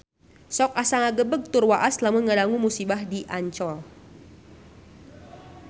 Sok asa ngagebeg tur waas lamun ngadangu musibah di Ancol